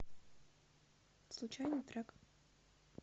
случайный трек